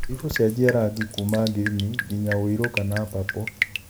ĩgũcejia rangi kuma ngirini nginya wĩirũ kana papũ